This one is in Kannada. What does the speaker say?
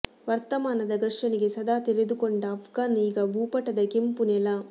ವರ್ತಮಾನದ ಘರ್ಷಣೆಗೆ ಸದಾ ತೆರೆದುಕೊಂಡ ಅಫ್ಘಾನ ಈಗ ಭೂಪಟದ ಕೆಂಪು ನೆಲ